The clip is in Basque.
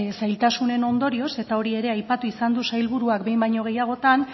zailtasunen ondorioz eta hori ere aipatu izan du sailburuak behin baino gehiagotan